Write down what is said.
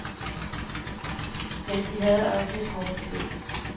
Men de havde også et hårdt liv.